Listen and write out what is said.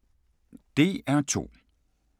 DR2